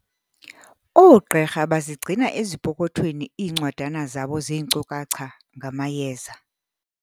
Oogqirha bazigcina ezipokothweni iincwadana zabo zeenkcukacha ngamayeza.